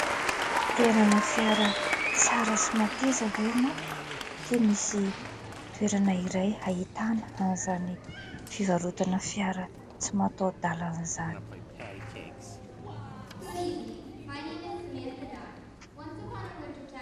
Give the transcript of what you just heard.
Te hanana fiara tsara sy mateza ve ianao ? Ity misy toerana iray ahitana an'zany fivarotana fiara tsy matahodalan' izany.